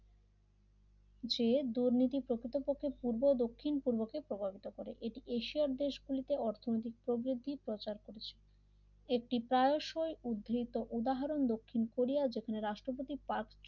যে দুর্নীতি প্রকৃতপক্ষে পূর্ব দক্ষিণ পূর্বকে প্রভাবিত করে এটি এশিয়ান দেশগুলিতে অর্থনৈতিক প্রবৃত্তি প্রচার করেছে এটি প্রায়শই উদ্ধৃত উদাহরণ দক্ষিণ কোরিয়া যেখানে রাষ্ট্রপতি পার্ক